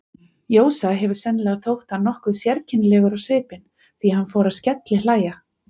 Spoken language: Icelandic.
Jósa hefur sennilega þótt hann nokkuð sérkennilegur á svipinn, því hann fór að skellihlæja.